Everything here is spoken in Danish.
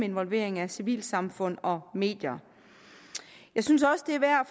involvering af civilsamfund og medier jeg synes også det er værd